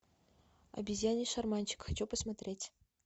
обезьяний шарманщик хочу посмотреть